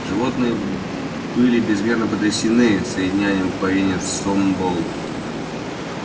животные были безмерно потрясены тем что в содеянном повинен сноуболл